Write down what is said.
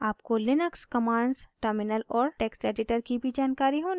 आपको Linux commands terminal और text editor की भी जानकारी होनी चाहिए